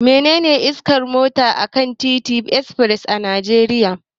Menene iyakar gudun mota akan titin express a Najeriya?